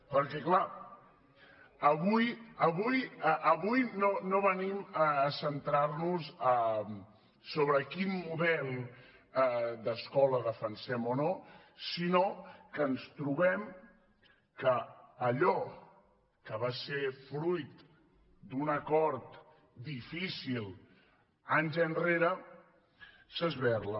perquè clar avui no venim a centrarnos sobre quin model d’escola defensem o no sinó que ens trobem que allò que va ser fruit d’un acord difícil anys enrere s’esberla